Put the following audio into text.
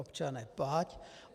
Občane, plať!